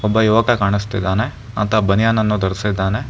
ಒಬ್ಬ ಯುವಕ ಕಾಣಿಸ್ತಿದ್ದಾನೆ ಆತ ಬನಿಯನ್ ಅನ್ನು ಧರಿಸಿದ್ದಾರೆ.